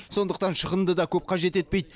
сондықтан шығынды да көп қажет етпейді